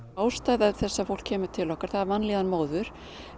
ástæða þess að fólk kemur til okkar er vanlíðan móður